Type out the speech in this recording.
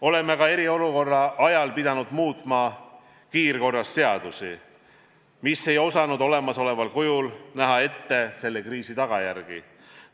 Oleme ka eriolukorra ajal pidanud muutma kiirkorras seadusi, mis ei osanud olemasoleval kujul näha ette selle kriisi tagajärgi.